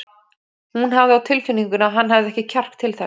Hún hafði á tilfinningunni að hann hefði ekki kjark til þess.